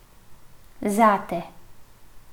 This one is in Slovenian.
Zate.